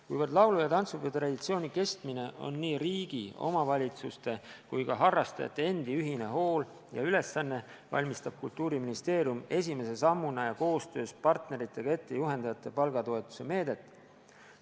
Kuna laulu- ja tantsupeo traditsiooni kestmine on nii riigi, omavalitsuste kui ka harrastajate endi ühine hool ja ülesanne, valmistab Kultuuriministeerium esimese sammuna ja koostöös partneritega ette juhendajate palgatoetuse meedet.